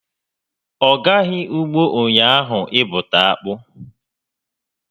Ọ gaghị ụgbọ ụnyaahụ ịbụta akpụ